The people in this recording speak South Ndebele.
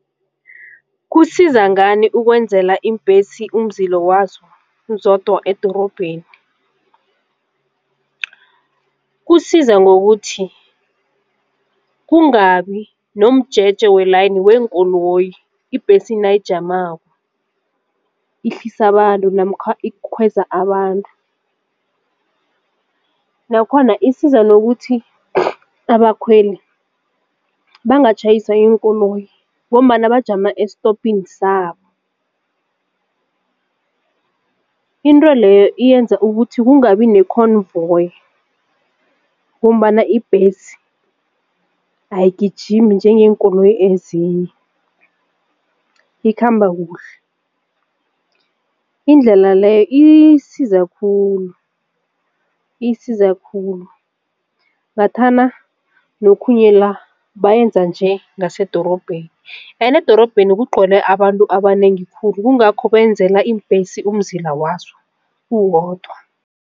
Kusiza ngani ukwenzela iimbhesi umzila wazo zodwa edorobheni? Kusiza ngokuthi kungabi nomjeje welayini weenkoloyi ibhesi nayijamako ihlisa abantu namkha ikhweza abantu, nakhona isiza nokuthi abakhweli bangatjhayiswa yiinkoloyi ngombana bajama estopini sabo. Into leyo iyenza ukuthi kungabi nekhonvoyi ngombana imbhesi ayigijimi njengeenkoloyi ezinye ikhamba kuhle indlela le isiza khulu isiza khulu ngathana nokhunye la bayenza njengasedorobheni ene edorobheni kungcwele abantu abanengi khulu kungakho benzela iimbhesi umzila wazo uwodwa.